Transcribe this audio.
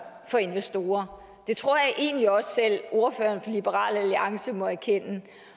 for investorer det tror jeg egentlig også at selv ordføreren for liberal alliance må erkende